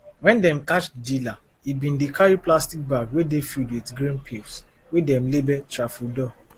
wen dem catch di dealer e bin dey carry plastic bag wey dey filled with green pills wey dem label tafrodol